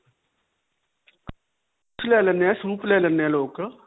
ਲੈ ਲੇਂਦੇ ਹੈ. soup ਲੈ ਲੈਂਦੇ ਹੈ ਲੋਕ.